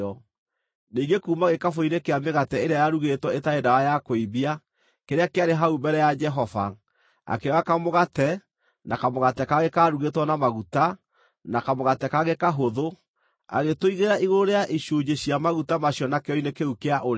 Ningĩ kuuma gĩkabũ-inĩ kĩa mĩgate ĩrĩa yarugĩtwo ĩtarĩ ndawa ya kũimbia, kĩrĩa kĩarĩ hau mbere ya Jehova, akĩoya kamũgate, na kamũgate kangĩ kaarugĩtwo na maguta, na kamũgate kangĩ kahũthũ; agĩtũigĩrĩra igũrũ rĩa icunjĩ cia maguta macio na kĩero-inĩ kĩu kĩa ũrĩo.